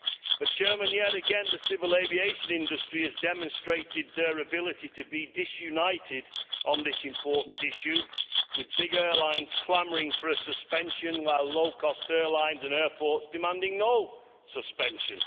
But yet again the civil aviation industry has demonstrated its ability to be disunited on this important issue, with big airlines clamouring for a suspension while low cost airlines and airports are demanding no suspension.